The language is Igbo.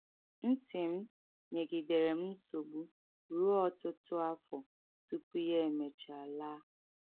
Ntị m nyegidere m nsogbu ruo ọtụtụ afọ tupu ya e mechaa laa.